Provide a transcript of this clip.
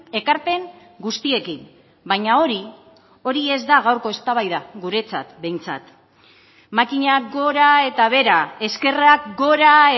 ekarpen guztiekin baina hori hori ez da gaurko eztabaida guretzat behintzat makinak gora eta behera eskerrak gora